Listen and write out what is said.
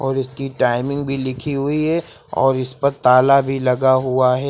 और इसकी टाइमिंग भी लिखी हुई है और इस पर ताला भी लगा हुआ है।